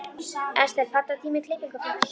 Estel, pantaðu tíma í klippingu á fimmtudaginn.